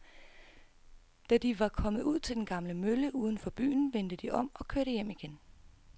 Da de var kommet ud til den gamle mølle uden for byen, vendte de om og kørte hjem igen.